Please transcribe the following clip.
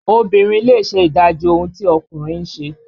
Obìnrin lè ṣe ìdájì ohun tí ọkùnrin ń ṣe